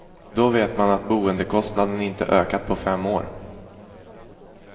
Då vet man att boendekostnaden inte ökar på fem år.